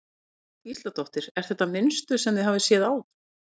Jóhanna Margrét Gísladóttir: Er þetta mynstur sem þið hafið séð áður?